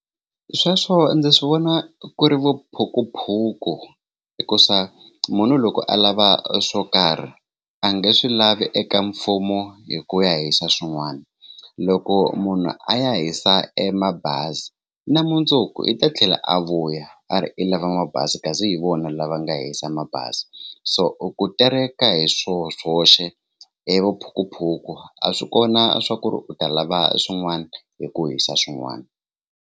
Sweswo ndzi swi vona ku ri vuphukuphuku hikusa munhu loko a lava swo karhi a nge swi lavi eka mfumo hi ku ya hisa swin'wana loko munhu a ya hisa e mabazi na mundzuku i ta tlhela a vuya a ri i lava mabazi kasi hi vona lava nga hisa mabazi so ku tereka hi swoho swoxe i vuphukuphuku a swi kona swa ku ri u ta lava swin'wana hi ku hisa swin'wana.